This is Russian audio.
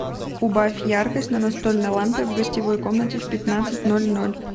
убавь яркость на настольной лампе в гостевой комнате в пятнадцать ноль ноль